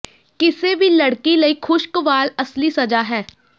ਕਿਸੇ ਵੀ ਲੜਕੀ ਲਈ ਖੁਸ਼ਕ ਵਾਲ ਅਸਲੀ ਸਜ਼ਾ ਹੈ